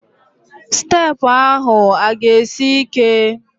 Steepụ ahụ a ga-esi ike?